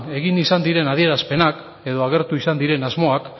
egin izan diren adierazpenak edo agertu izan diren asmoak